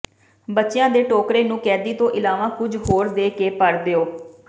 ਬੱਚਿਆਂ ਦੇ ਟੋਕਰੇ ਨੂੰ ਕੈਦੀ ਤੋਂ ਇਲਾਵਾ ਕੁਝ ਹੋਰ ਦੇ ਕੇ ਭਰ ਦਿਓ